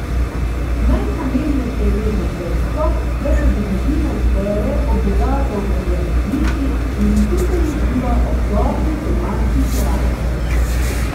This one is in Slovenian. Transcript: Najpomembnejše je vedno dejstvo, da se družina zbere ob bogato obloženi mizi in skupaj uživa ob dobri domači hrani.